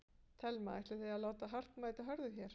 Telma: Ætlið þið að láta hart mæta hörðu hér?